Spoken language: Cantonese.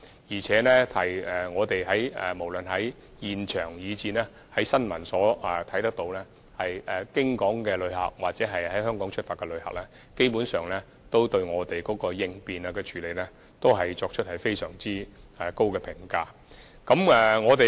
另外，我們無論在現場或從新聞報道也能看到，過境旅客或在香港出發的旅客，基本上都對我們的應變措施，給予非常高的評價。